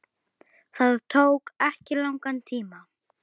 Það tók ekki langan tíma.